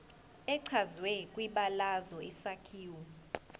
echazwe kwibalazwe isakhiwo